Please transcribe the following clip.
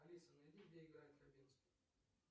алиса найди где играет хабенский